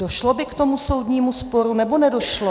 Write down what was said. Došlo by k tomu soudnímu sporu, nebo nedošlo?